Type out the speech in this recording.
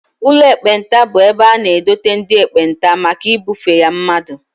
Ụlọ ekpenta bụ ebe a na-edote ndị ekpenta maka ibufe ya mmadụ